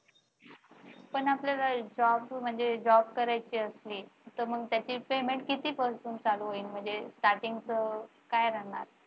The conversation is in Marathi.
पण आपल्याला job म्हणजे job करायचे असेल तर मग त्याचे payment कितीपासून चालू होईल म्हणजे starting काय राहणार.